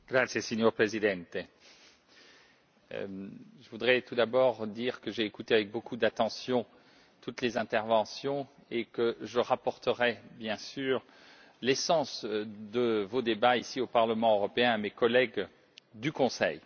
Monsieur le Président, je voudrais tout d'abord dire que j'ai écouté avec beaucoup d'attention toutes les interventions et que je rapporterai, bien sûr, l'essence de vos débats ici au Parlement européen à mes collègues du Conseil.